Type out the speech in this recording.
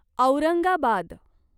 Aurangabad